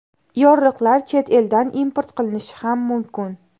Yorliqlar chet eldan import qilinishi ham mumkin.